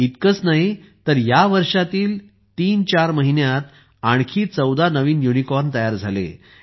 इतकेच नाही तर या वर्षातील 34 महिन्यांत आणखी 14 नवीन युनिकॉर्न तयार झाले